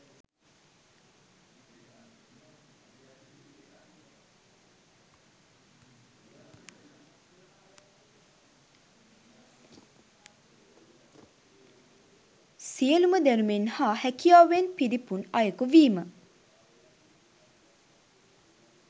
සියලුම දැනුමෙන් හා හැකියාවෙන් පිරිපුන් අයකු වීම